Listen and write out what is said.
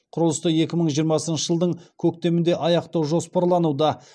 құрылысты екі мың жиырмасыншы жылдың көктемінде аяқтау жоспарлануда